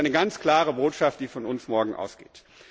Das ist eine ganz klare Botschaft, die von uns morgen ausgeht.